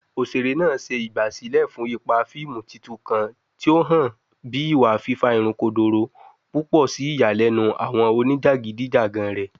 Oṣere naa ṣe igbasilẹ fun ipa fiimu titun kan, ti o han bi iwa fifa irun kodoro, pupọ si iyalenu awọn onijakidijagan rẹ.